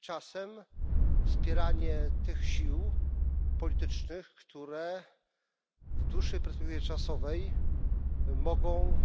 czasem wspieranie tych sił politycznych, które w dłuższej perspektywie czasowej mogą